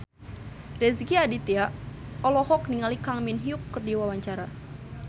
Rezky Aditya olohok ningali Kang Min Hyuk keur diwawancara